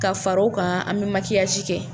Ka far'o kan an bɛ makiyasi kɛ.